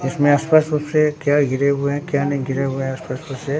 इसमें स्पष्ट रूप से क्या घिरे हुए हैं क्या नय घिरे हुए हैं स्पष्ट रूप से।